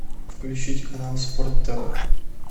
включить канал спорт тв